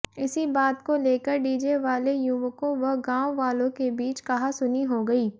इसी बात को लेकर डीजे वाले युवकों व गांव वालों के बीच कहासुनी हो गई